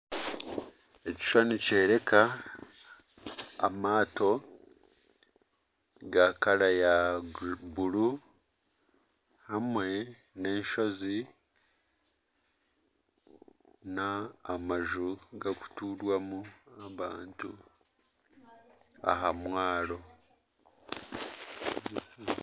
Ekishushani nikyoreeka amato ga kaara ya buru hamwe n'enshozi n'amaju garikutuurwamu abantu aha mwaro